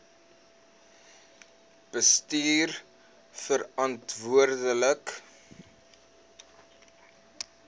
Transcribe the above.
bestuurverantwoordbare